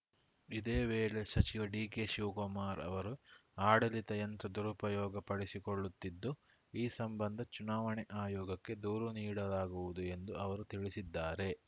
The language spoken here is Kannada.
ಇದೇ ವೇಳೆ ಸಚಿವ ಡಿಕೆಶಿವಕುಮಾರ್‌ ಅವರು ಆಡಳಿತ ಯಂತ್ರ ದುರುಪಯೋಗ ಪಡಿಸಿಕೊಳ್ಳುತ್ತಿದ್ದು ಈ ಸಂಬಂಧ ಚುನಾವಣೆ ಆಯೋಗಕ್ಕೆ ದೂರು ನೀಡಲಾಗುವುದು ಎಂದು ಅವರು ತಿಳಿಸಿದ್ದಾರೆ